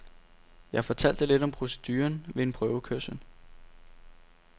Jeg fortalte lidt om proceduren ved en prøvekørsel.